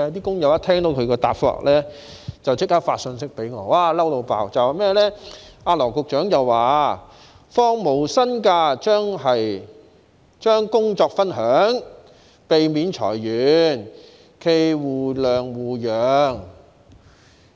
工友一聽到他的答覆，便立即發信息給我，他們十分生氣，因為羅局長說放無薪假，即是將工作分享，可避免裁員，冀互諒互讓。